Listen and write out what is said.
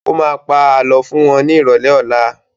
Ó má pa Àlọ́ fún wọn ní ìrọ̀lẹ́ ọlá